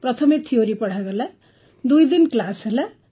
ପ୍ରଥମେ ଥ୍ୟୋରୀ ପଢ଼ାଗଲା ଦୁଇ ଦିନ କ୍ଲାସ୍ ହେଲା